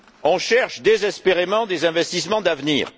On cherche désespérément des investissements d'avenir?